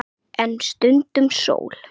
En stundum sól.